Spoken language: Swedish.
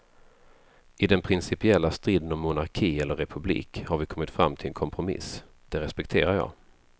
I den principiella striden om monarki eller republik har vi kommit fram till en kompromiss, den respekterar jag.